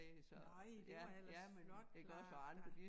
Nøj det var ellers flot klaret der